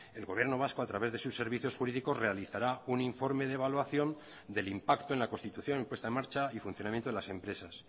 el gobierno vasco a través de sus servicios jurídicos realizará un informe de evaluación del impacto en la constitución puesta en marcha y funcionamiento de las empresas